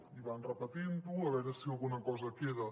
i van repetint ho a veure si alguna cosa queda